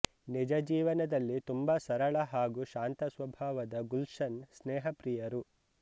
ನಿಜ ಜೀವನದಲ್ಲಿ ತುಂಬ ಸರಳ ಹಾಗೂ ಶಾಂತ ಸ್ವಭಾವದ ಗುಲ್ಶನ್ ಸ್ನೇಹಪ್ರಿಯರು